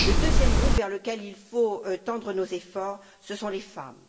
Le deuxième groupe vers lequel il faut tendre nos efforts, ce sont les femmes.